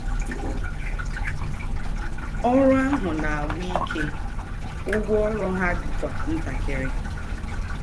Ọrụ ahụ na-agwụ ike, ụgwọ ọrụ ha dịkwa ntakịrị.